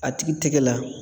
A tigi tɛgɛ la.